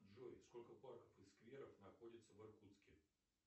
джой сколько парков и скверов находится в иркутске